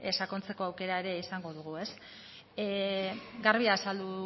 sakontzeko aukera ere izango dugu garbi azaldu